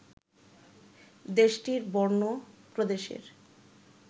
দেশটির বর্নো প্রদেশের